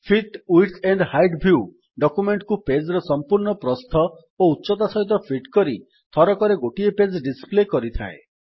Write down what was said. fit width and height view document କୁ page ର ସମ୍ପୂର୍ଣ୍ଣ ପ୍ରସ୍ଥ ଓ ଉଚ୍ଚତା ସହିତ ଫିଟ୍ କରି ଥରକରେ ଗୋଟିଏ ପେଜ୍ ଡିସପ୍ଲେ କରିଥାଏ